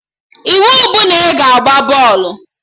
Iwu bụ na ị ga-agba bọọlụ!